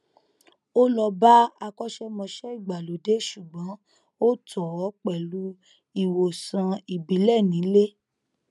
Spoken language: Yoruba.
ó lọ bá akọṣẹmọṣẹ ìgbàlódé ṣùgbọn ó tọ ọ pẹlú ìwòsàn ìbílẹ nílé